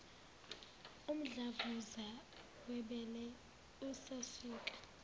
umdlavuza webele usasuka